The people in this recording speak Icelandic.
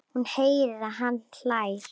Hún heyrir að hann hlær.